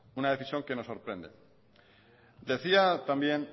una decisión que nos sorprende decía también